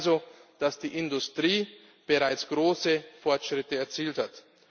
Wir sehen also, dass die Industrie bereits große Fortschritte erzielt hat.